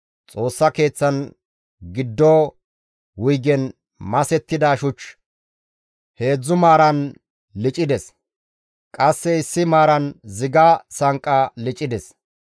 Xoossa Keeththan giddo wuygen masettida shuch heedzdzu maaran licides; qasse issi maaran ziga sanqqa licides.